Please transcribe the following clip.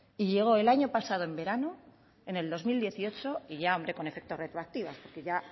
y llegó el año pasado en verano en el dos mil dieciocho y ya hombre con efecto retroactivo porque ya